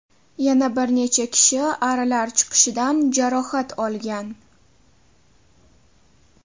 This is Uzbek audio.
Yana bir necha kishi arilar chaqishidan jarohat olgan.